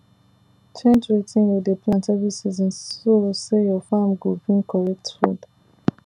change wetin you dey plant every season so say your farm go bring correct food